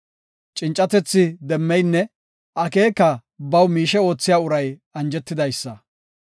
Cincatethi demmeynne, akeeka baw miishe oothiya uray anjetidaysa.